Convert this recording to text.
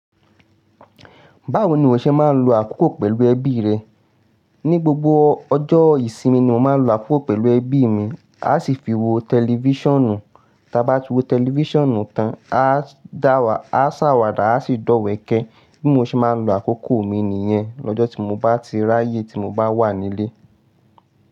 Báwo ni o ṣe máa ń lo àkókò pẹ̀lú ẹbí rẹ? Ni gbogbo ọjọ́ ìsinmi ni mo máa ń lo àkókò pẹ̀lú ẹbí mi. A ṣì fi wo tẹlifíṣànù, ta bá ti wo tẹlifíṣànù tán, a da wa, a sáwàdà, a sì dọ̀wẹ̀kẹ̀. Bí mo ṣe máa ń lo àkókò mi nìyẹn lọ́jọ́ tí mo bá tí ráyè tí mo bá wà nílé.